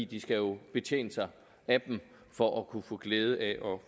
de skal jo betjene sig af dem for at kunne få glæde af at